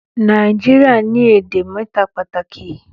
Nàìjíríà ni èdè méta pàtàkì